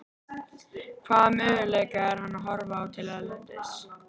Hvaða möguleika er hann að horfa til erlendis?